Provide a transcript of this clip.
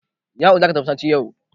Ya'u za ka tafi masallaci!